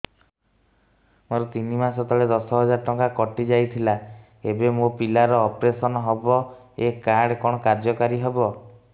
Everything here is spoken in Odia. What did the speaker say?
ମୋର ତିନି ମାସ ତଳେ ଦଶ ହଜାର ଟଙ୍କା କଟି ଯାଇଥିଲା ଏବେ ମୋ ପିଲା ର ଅପେରସନ ହବ ଏ କାର୍ଡ କଣ କାର୍ଯ୍ୟ କାରି ହବ